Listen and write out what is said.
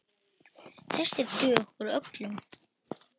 Þessir duga okkur öllum.